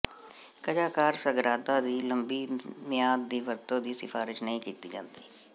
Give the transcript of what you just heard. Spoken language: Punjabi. ਕਜ਼ਾਕਾਰ ਸਗਰਾਦਾ ਦੀ ਲੰਮੀ ਮਿਆਦ ਦੀ ਵਰਤੋਂ ਦੀ ਸਿਫਾਰਸ਼ ਨਹੀਂ ਕੀਤੀ ਜਾਂਦੀ